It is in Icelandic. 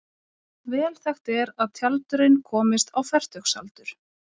Vel þekkt er að tjaldurinn komist á fertugsaldur.